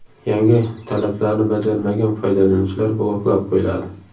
Yangi talablarni bajarmagan foydalanuvchilar bloklab qo‘yiladi.